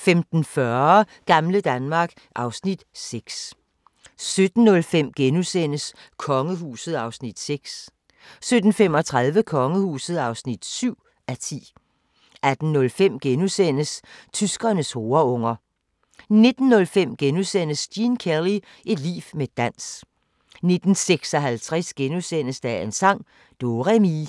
5)* 15:40: Gamle Danmark (Afs. 6) 17:05: Kongehuset (6:10)* 17:35: Kongehuset (7:10) 18:05: Tyskernes horeunger * 19:05: Gene Kelly – et liv med dans * 19:56: Dagens sang: Do-re-mi *